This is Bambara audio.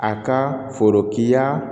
A ka forokiya